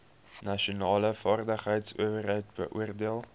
nasionale vaardigheidsowerheid beoordeel